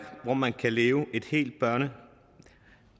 hvor man kan leve et helt børne